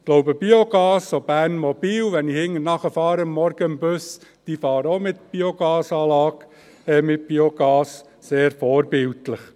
Ich glaube, auch Bernmobil braucht Biogas: Wenn ich morgens hinter dem Bus herfahre, fahren die auch mit Biogas, sehr vorbildlich.